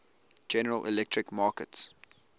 general electric markets